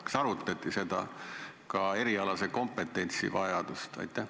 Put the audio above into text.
Kas arutati ka erialase kompetentsi vajadust?